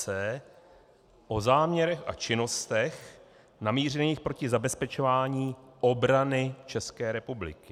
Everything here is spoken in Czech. c) o záměrech a činnostech namířených proti zabezpečování obrany České republiky,